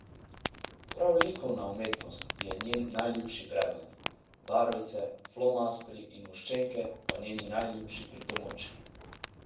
Prav likovna umetnost je njen najljubši predmet, barvice, flomastri in voščenke pa njeni najljubši pripomočki.